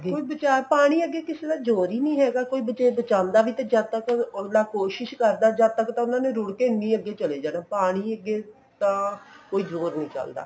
ਕੋਈ ਬਚਾ ਪਾਣੀ ਅੱਗੇ ਕਿਸੇ ਦਾ ਜੋਰ ਹੀ ਨੀ ਹੈਗਾ ਜੇ ਕੋਈ ਬਚਾਉਂਦਾ ਵੀ ਤੇ ਜਦ ਤੱਕ ਅਗਲਾ ਕੋਸ਼ਿਸ ਕਰਦਾ ਜਦ ਤੱਕ ਤਾਂ ਉਹਨਾ ਨੇ ਰੁੜ ਕੇ ਇੰਨੀ ਅੱਗੇ ਚਲੇ ਜਾਣਾ ਸੀ ਪਾਣੀ ਅੱਗੇ ਤਾਂ ਕੋਈ ਜੋਰ ਨੀ ਚੱਲਦਾ